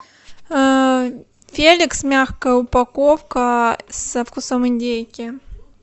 феликс мягкая упаковка со вкусом индейки